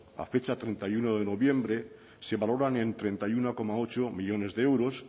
a fecha treinta y uno de noviembre se valoran en treinta y uno coma ocho millónes de euros